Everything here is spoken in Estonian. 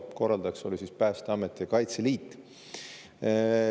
Korraldajad olid Päästeamet ja Kaitseliit.